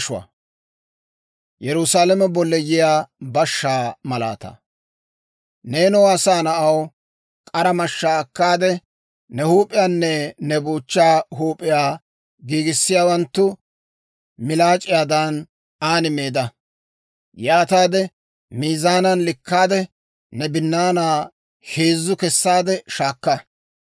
«Neenoo asaa na'aw, k'ara mashshaa akkaade, ne huup'iyaanne ne buuchchaa huup'iyaa giigisiyaawanttu milaac'c'iyaadan an meedda. Yaataade miizaanan likkaade, ne binnaanaa heezzu kessaade shaakka.